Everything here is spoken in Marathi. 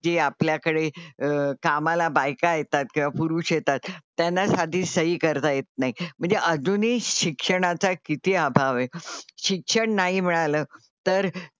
जे आपल्याकडे कामाला बायका येतात किंवा पुरुष येतात त्यांना साधी सही करता येत नाही म्हणजे अजूनही शिक्षणाचा किती अभाव आहे. शिक्षण नाही मिळालं तर,